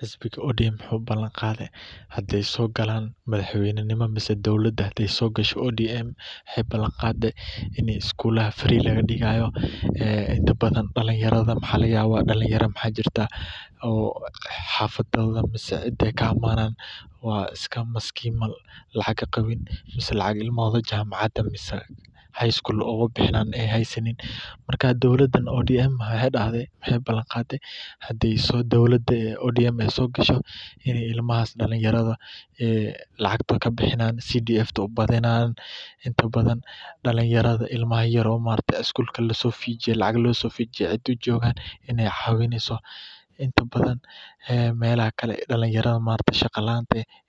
Wuxuu balan qaade hadaay soo galaan in iskulaha raqiis laga digaayo, waxaa jira dakinyara lacag haysanin, marka waxeey balan qaade hdaay soo galaan inaay lacagta kabixinayan,